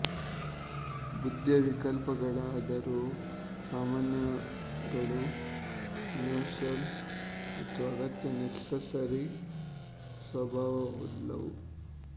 ಬುದ್ಧಿಯ ವಿಕಲ್ಪಗಳಾದರೋ ಸಾಮಾನ್ಯಗಳು ಯೂನಿವರ್ಸಲ್ ಮತ್ತು ಅಗತ್ಯ ನೆಸೆಸರಿ ಸ್ವಭಾವವುಳ್ಳವು